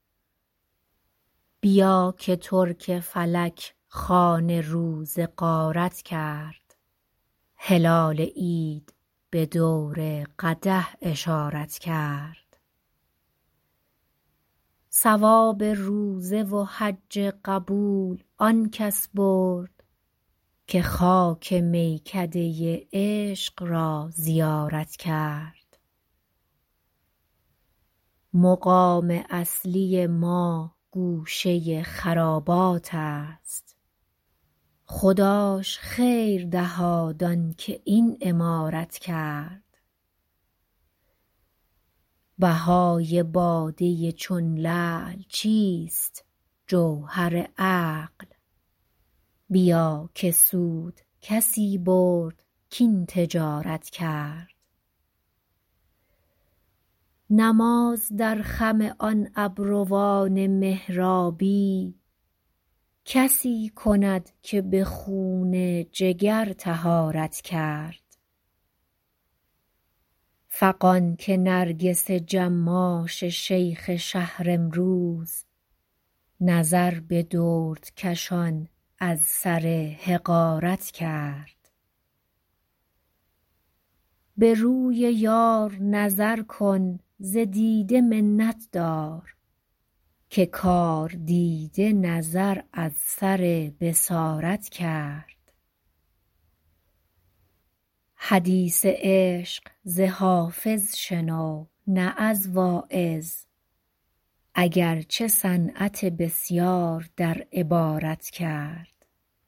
بیا که ترک فلک خوان روزه غارت کرد هلال عید به دور قدح اشارت کرد ثواب روزه و حج قبول آن کس برد که خاک میکده عشق را زیارت کرد مقام اصلی ما گوشه خرابات است خداش خیر دهاد آن که این عمارت کرد بهای باده چون لعل چیست جوهر عقل بیا که سود کسی برد کاین تجارت کرد نماز در خم آن ابروان محرابی کسی کند که به خون جگر طهارت کرد فغان که نرگس جماش شیخ شهر امروز نظر به دردکشان از سر حقارت کرد به روی یار نظر کن ز دیده منت دار که کاردیده نظر از سر بصارت کرد حدیث عشق ز حافظ شنو نه از واعظ اگر چه صنعت بسیار در عبارت کرد